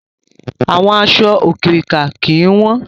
Àwọn aṣọ òkirìkà ó kín wọn